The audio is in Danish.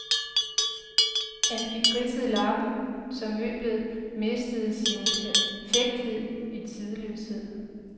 Han fik ridset lakken, så møblet mistede sin perfekthed og tidløshed.